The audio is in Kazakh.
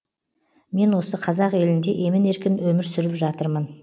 мен осы қазақ елінде емін еркін өмір сүріп жатырмын